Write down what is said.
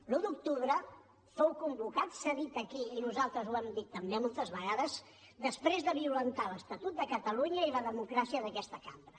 l’un d’octubre fou convocat s’ha dit aquí i nosaltres ho hem dit també moltes vegades després de violentar l’estatut de catalunya i la democràcia d’aquesta cambra